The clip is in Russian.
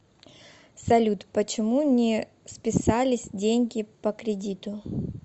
салют почему не списались деньги по кредиту